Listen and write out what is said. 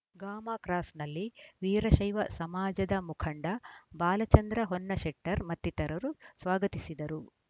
ಗಾಮ cross ನಲ್ಲಿ ವೀರಶೈವ ಸಮಾಜದ ಮುಖಂಡ ಬಾಲಚಂದ್ರ ಹೊನ್ನಶೆಟ್ಟರ್‌ ಮತ್ತಿತರರು ಸ್ವಾಗತಿಸಿದರು